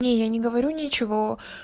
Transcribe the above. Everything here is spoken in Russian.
не я не говорю ничего